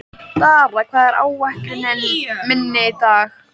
Dara, hvað er á áætluninni minni í dag?